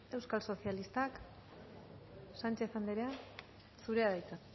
euskal sozialistak sánchez andrea zurea da hitza